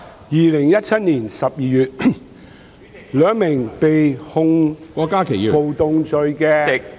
2017年12月，兩名被控暴動罪......